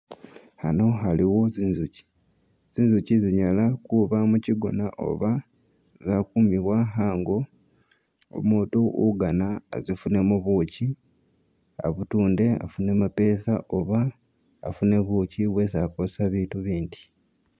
A'ano waliwo zi'nzuki, zi'nzuki zinyala kuba muchigona oba zakumibwa a'ngo umutu ugana azifunemo buuchi abutunde afune mapesa oba afune buuchi bwesi akosesa i'bitu i'bindi